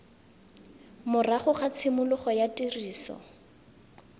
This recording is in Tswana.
morago ga tshimologo ya tiriso